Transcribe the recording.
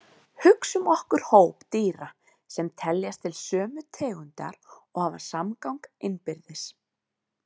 Hugsum okkur hóp dýra sem teljast til sömu tegundar og hafa samgang innbyrðis.